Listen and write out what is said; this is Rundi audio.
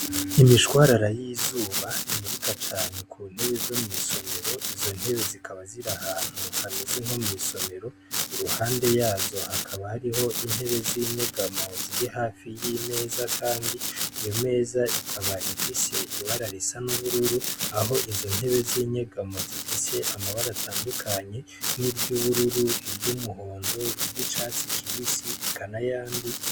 Imishwarara y'izuba imurika cane ku ntebe zo mw'isomero, izo ntebe zikaba ziri ahantu hameze nko mw'isomero, iruhande yazo hakaba hariho intebe z'inyegamwo ziri hafi y'imeza, kandi iyo meza ikaba ifise ibara risa n'ubururu, aho izo ntebe z'inyegamwo zifise amabara atandukanye nk'iry'ubururu, iry'umuhondo, iry'icatsi kibisi eka n'ayandi.